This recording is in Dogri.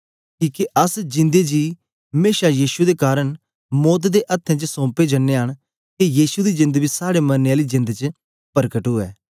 किके अस जिंदे जी मेशा यीशु दे कारन मौत दे अथ्थें च सोंपे जनयां न के यीशु दी जेंद बी साड़े मरने आली जेंद च परकट उवै